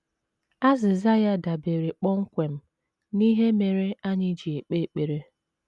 Azịza ya dabeere kpọmkwem n’ihe mere anyị ji ekpe ekpere.